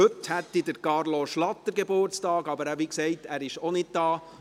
Heute hat Carlo Schlatter Geburtstag, aber er ist – wie gesagt – nicht da.